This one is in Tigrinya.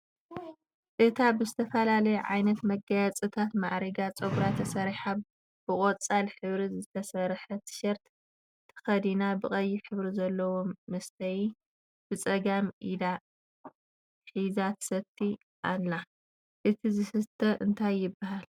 እታ ብዝተፈላለየ ዓይነት መጋየፅታት ማዕሪጋ ፀጉራ ተሰሪሓ ብቀፃል ሕብሪ ዝተሰርሐ ተሸርት ተኸዲና ብቀይሕ ሕብሪ ዘለዎ መስተዪ ብፀጋም ኢዳ ሒዛ ትሰቲ ኣላ፡፡ እቲ ዝስተ እንታይ ይበሃል?